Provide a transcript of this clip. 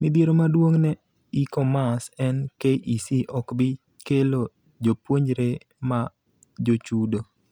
Mitdhiero maduong ne e-commerce en KEC okbi kelo jopuonjre ma jochudo.